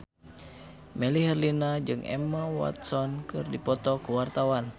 Melly Herlina jeung Emma Watson keur dipoto ku wartawan